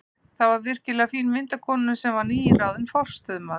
Því fylgdi virkilega fín mynd af konunni, sem var nýráðinn forstöðumaður